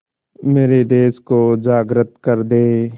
मेरे देश को जागृत कर दें